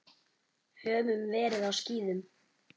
Höfðum verið á skíðum.